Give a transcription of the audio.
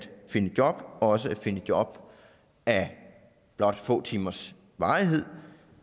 finde et job også at finde et job af blot få timers varighed